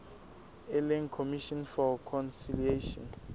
e leng commission for conciliation